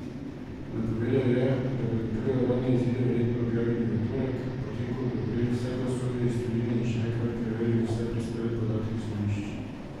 Napovedal je, da bodo prve uradne izide verjetno objavili v torek, potem ko bodo prejeli vse glasove iz tujine in še enkrat preverili vse prispele podatke z volišč.